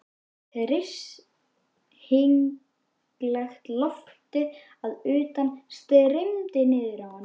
Hryssingslegt loftið að utan streymdi niður í hann.